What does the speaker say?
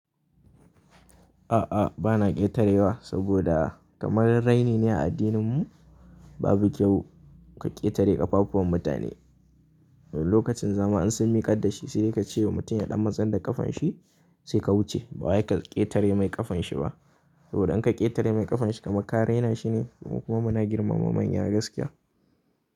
A'a, bana ƙetarewa saboda kamar raini ne a addininmu. Babu kyau ka ƙetare ƙafafuwan mutane. Lokacin zama in sun miƙar da shi sai dai ka ce mutum ya ɗan matsar da ƙafan shi sai ka wuce. Bawai ka ƙetare mai ƙafan shi ba. Saboda in ka ƙetare mai ƙafan shi kamar kare nashi ne mu kuma muna girmama manya gaskiya.